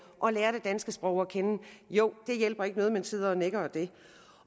og lære det danske sprog at kende det hjælper ikke noget at man sidder og nikker ad det